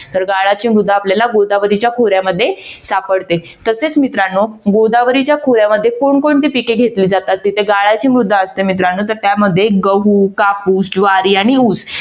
तर गाळाची मृदा आपल्याला गोदावरीच्या खोऱ्यामध्ये सापडते तसेच मित्रानो गोदावरीच्या खोऱ्यामध्ये कोण कोणते पिके घेतले जातात तिथे गाळाची मृदा असते मित्रांनो तर त्यामध्ये गहू, कापूस, ज्वारी आणि ऊस